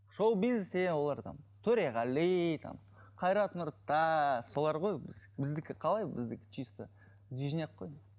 шоу бизнес деген олар там төреғали там қайрат нұртас солар ғой біз біздікі қалай біздікі чисто движняк қой